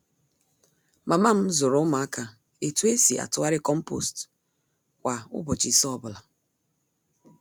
Mama m zụrụ ụmụaka ētu esi atụgharị compost kwa ụbọchị ise ọ bụla.